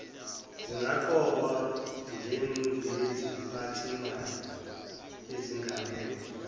zingaqokwa njengeziphathimandla ezengamele